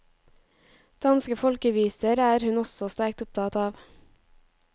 Danske folkeviser er hun også sterkt opptatt av.